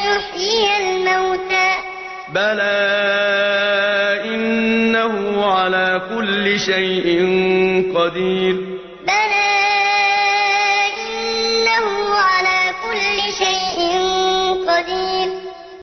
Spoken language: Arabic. يُحْيِيَ الْمَوْتَىٰ ۚ بَلَىٰ إِنَّهُ عَلَىٰ كُلِّ شَيْءٍ قَدِيرٌ